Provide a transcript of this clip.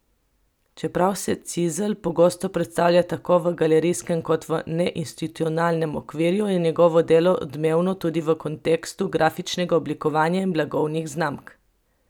Čeprav se Cizl pogosto predstavlja tako v galerijskem kot v neinstitucionalnem okviru, je njegovo delo odmevno tudi v kontekstu grafičnega oblikovanja in blagovnih znamk.